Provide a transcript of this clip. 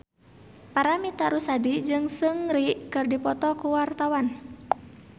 Paramitha Rusady jeung Seungri keur dipoto ku wartawan